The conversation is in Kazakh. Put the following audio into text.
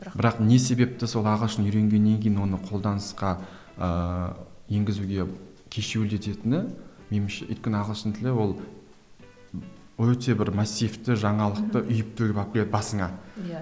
бірақ не себепті сол ағылшын үйренгеннен кейін оны қолданысқа ыыы енгізуге кешеуілдететіні меніңше өйткені ағылшын тілі ол өте бір массивті жаңалықты үйіп төгіп алып келеді басыңа иә